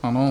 Ano.